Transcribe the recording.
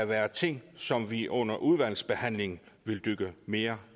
være ting som vi under udvalgsbehandlingen vil dykke mere